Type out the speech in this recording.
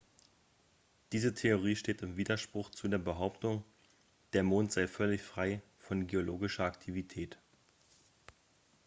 diese theorie steht im widerspruch zu der behauptung der mond sei völlig frei von geologischer aktivität